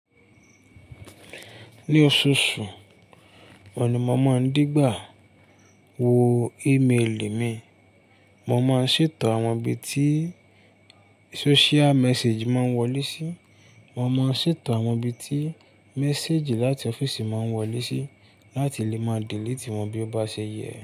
Ní oṣooṣù, mo ni mo máa ń dìgbà wo e-mail mi. Mo máa ń ṣètò àwọn ibi tí social message máa ń wọlé sí. Mo máa ń ṣètò àwọn ibi tí message láti ọ́fíìsì máa ń wọlé sí láti lè má delete wọn bí ó bá ṣe yẹ.